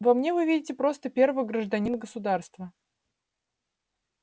во мне вы видите просто первого гражданина государства